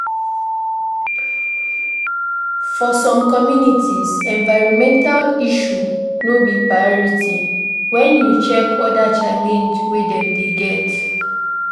For some communities, environmental issue no be priority when you check oda challenge wey dem dey get